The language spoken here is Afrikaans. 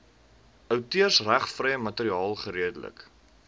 outeursregvrye materiaal geredelik